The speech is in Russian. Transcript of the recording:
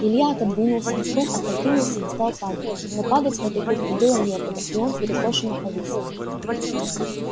илья отодвинулся стул опрокинулся и стал падать но падать в этой кухне было некуда и он перекошенно повис